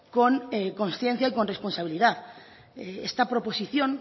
con consciencia y con responsabilidad esta proposición